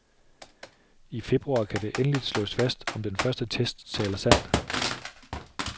I februar kan det endeligt slåes fast, om den første test taler sandt.